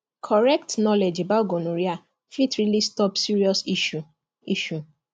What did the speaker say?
correct knowledge about gonorrhea fit really stop serious issue issue